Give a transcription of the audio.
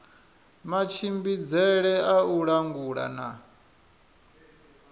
matshimbidzele a u langula na